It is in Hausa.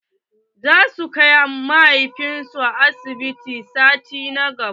Za su kai mahaifin su asibiti sati na gaba.